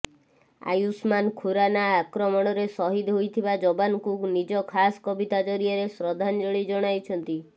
ଆୟୁଷ୍ମାନ୍ ଖୁରାନା ଆକ୍ରମଣରେ ଶହୀଦ ହୋଇଥିବା ଜବାନଙ୍କୁ ନିଜ ଖାସ୍ କବିତା ଜରିଆରେ ଶ୍ରଦ୍ଧାଞ୍ଜଳୀ ଜଣାଇଛନ୍ତି